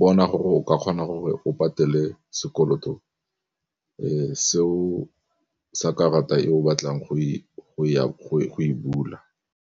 bona gore o ka kgona gore o patele sekoloto, seo sa karata e o batlang go e bula.